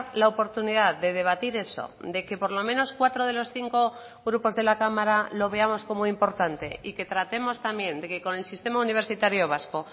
la oportunidad de debatir eso de que por lo menos cuatro de los cinco grupos de la cámara lo veamos como importante y que tratemos también de que con el sistema universitario vasco